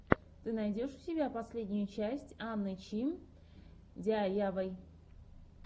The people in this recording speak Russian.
ты найдешь у себя последнюю часть анны чи диайвай